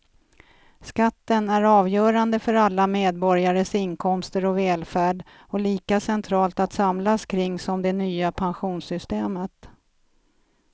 Skatten är avgörande för alla medborgares inkomster och välfärd och lika centralt att samlas kring som det nya pensionssystemet.